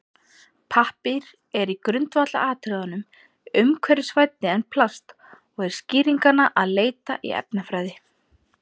Pappír er í grundvallaratriðum umhverfisvænni en plast og er skýringanna að leita í efnafræði.